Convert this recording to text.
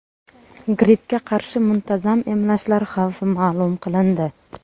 Grippga qarshi muntazam emlashlar xavfi ma’lum qilindi.